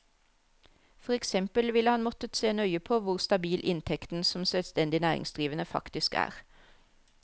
For eksempel ville han måttet se nøye på hvor stabil inntekten som selvstendig næringsdrivende faktisk er.